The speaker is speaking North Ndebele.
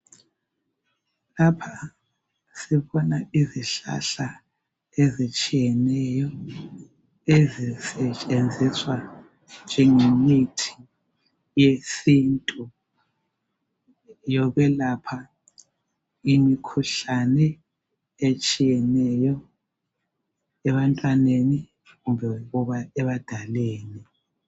Lapha sibona izihlahla ezitshiyeneyo ezisetshenziswa njenge mithi yesintu, yokwelapha imikhuhlane etshiyeneyo ebantwaneni kumbe ebadaleni.